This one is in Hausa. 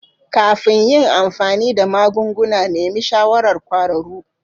Kafin yin amfani da magunguna, nemi shawarar kwararru.